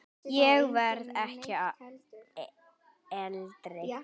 Ég verð ekki eldri.